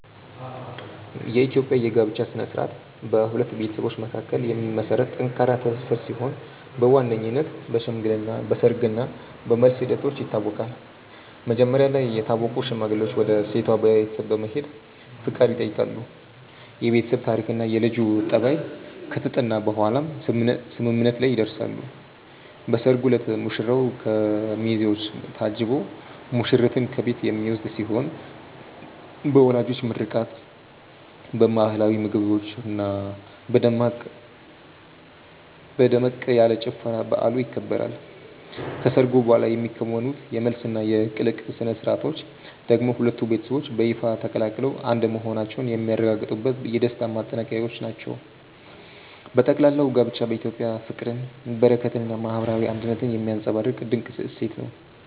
የኢትዮጵያ የጋብቻ ሥነ ሥርዓት በሁለት ቤተሰቦች መካከል የሚመሰረት ጠንካራ ትስስር ሲሆን በዋነኝነት በሽምግልና፣ በሰርግ እና በመልስ ሂደቶች ይታወቃል። መጀመሪያ ላይ የታወቁ ሽማግሌዎች ወደ ሴቷ ቤተሰብ በመሄድ ፈቃድ ይጠይቃሉ፤ የቤተሰብ ታሪክና የልጁ ጠባይ ከተጠና በኋላም ስምምነት ላይ ይደረሳል። በሰርጉ ዕለት ሙሽራው በሚዜዎች ታጅቦ ሙሽሪትን ከቤት የሚወስድ ሲሆን በወላጆች ምርቃት፣ በባህላዊ ምግቦችና በደመቅ ያለ ጭፈራ በዓሉ ይከበራል። ከሰርጉ በኋላ የሚከናወኑት የመልስና የቅልቅል ሥነ ሥርዓቶች ደግሞ ሁለቱ ቤተሰቦች በይፋ ተቀላቅለው አንድ መሆናቸውን የሚያረጋግጡበት የደስታ ማጠናቀቂያዎች ናቸው። በጠቅላላው ጋብቻ በኢትዮጵያ ፍቅርን፣ በረከትንና ማህበራዊ አንድነትን የሚያንፀባርቅ ድንቅ እሴት ነው።